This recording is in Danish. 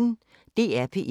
DR P1